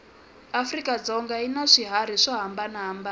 afrika dzonga yinaswihharhi swohhambana hhambana